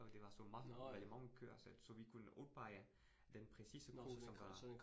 Og det var så mange eller mange køer, så så vi kunne udpege den præcise ko, som det var